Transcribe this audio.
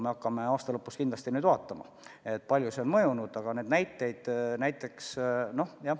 Me hakkame aasta lõpus kindlasti vaatama, kui palju see on mõjunud.